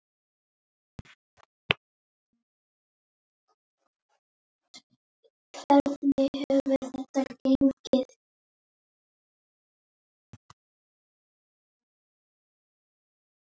Hvernig hefur þetta gengið?